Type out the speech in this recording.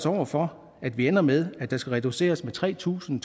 over for at vi ender med at der skal reduceres med tre tusind